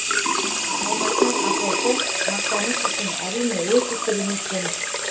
алматының апорты мақтаныш үшін әрине өте керемет жеміс